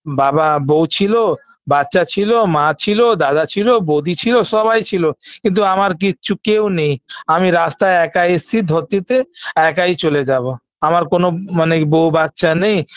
বাবা বউ ছিল বাচ্চা ছিল মা ছিল দাদা ছিল বৌদি ছিল সবাই ছিল কিন্তু আমার কিচ্ছু কেউ নেই আমি রাস্তায় একা এসেছি ধর দিতে আমি একাই চলে যাবো আমার কোন মানে বউ বাচ্চা নেই